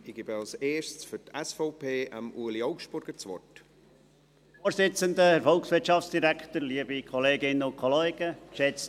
Ich gebe zuerst Ueli Augstburger für die SVP das Wort.